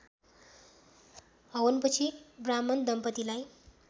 हवनपछि ब्राह्मण दम्पतिलाई